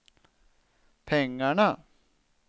pengarna